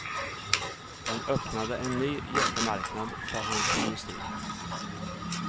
Den öppnade en ny jättemarknad för hans industri.